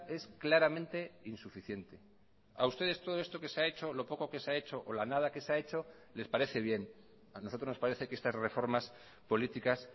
es claramente insuficiente a ustedes todo esto que se ha hecho lo poco que se ha hecho o la nada que se ha hecho les parece bien a nosotros nos parece que estas reformas políticas